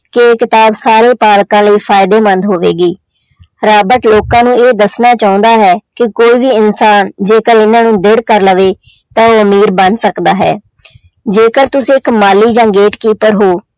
ਕਿ ਇਹ ਕਿਤਾਬ ਸਾਰੇ ਪਾਠਕਾਂ ਲਈ ਫ਼ਾਇਦੇਮੰਦ ਹੋਵੇਗੀ ਰਾਬਟ ਲੋਕਾਂ ਨੂੰ ਇਹ ਦੱਸਣਾ ਚਾਹੁੰਦਾ ਹੈ ਕਿ ਕੋਈ ਵੀ ਇਨਸਾਨ ਜੇਕਰ ਇਹਨਾਂ ਨੂੰ ਦ੍ਰਿੜ ਕਰ ਲਵੇ ਤਾਂ ਉਹ ਅਮੀਰ ਬਣ ਸਕਦਾ ਹੈ ਜੇਕਰ ਤੁਸੀਂ ਇੱਕ ਮਾਲੀ ਜਾਂ gatekeeper ਹੋ